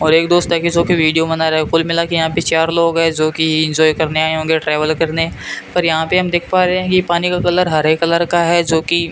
और एक दो स्टॉकी शो के वीडियो बना रहा है कुल मिलके यहां पे चार लोग है जोकि एंजॉय करने आए होंगे ट्रैवल करने पर यहां पे हम देख पा रहे हैं ये पानी का कलर हरे कलर का है जोकि --